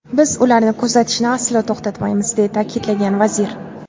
Biz ularni kuzatishni aslo to‘xtatmaymiz”, deya ta’kidlagan vazir.